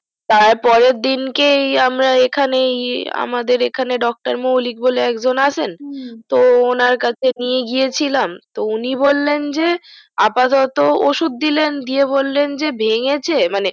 তার পরের দিনকেই আমরা এখানে এ আমাদের এখানেই dr moulik বলে একজন আছেন হুম তো ওনার কাছে নিয়ে গিয়েছিলাম তো উনি বললেন যে আপাতত ওষুধ দিলেন দিয়ে বললেন যে ভেঙেছে মানে